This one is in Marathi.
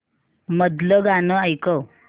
मधलं गाणं ऐकव